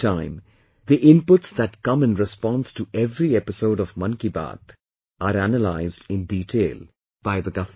Every time the inputs that come in response to every episode of 'Mann Ki Baat', are analyzed in detail by the government